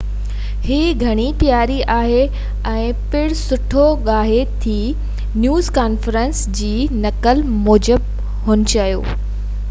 هي گهڻي پياري آهي ۽ پڻ سٺو ڳاهي ٿي نيوز ڪانفرنس جي نقل موجب هن چيو